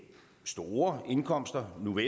var